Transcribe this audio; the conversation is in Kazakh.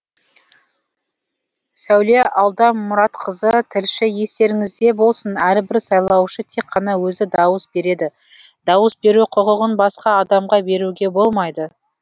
сәуле алдамұратқызы тілші естеріңізде болсын әрбір сайлаушы тек қана өзі дауыс береді дауыс беру құқығын басқа адамға беруге болмайды